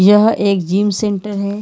यह एक gym centre है।